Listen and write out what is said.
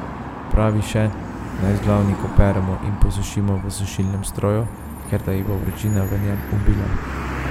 Pravi še, naj vzglavnik operemo in posušimo v sušilnem stroju, ker da jih bo vročina v njem ubila.